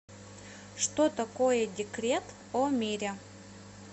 что такое декрет о мире